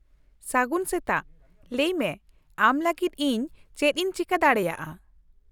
ᱥᱟᱹᱜᱩᱱ ᱥᱮᱛᱟᱜ, ᱞᱟᱹᱭ ᱢᱮ ᱟᱢ ᱞᱟᱹᱜᱤᱫ ᱤᱧ ᱪᱮᱫ ᱤᱧ ᱪᱮᱠᱟᱹ ᱫᱟᱮᱭᱟᱜᱼᱟ ?